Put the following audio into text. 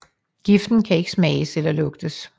Giften kan ikke smages eller lugtes